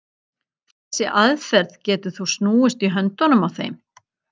Þessi aðferð getur þó snúist í höndunum á þeim.